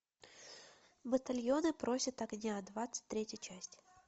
батальоны просят огня двадцать третья часть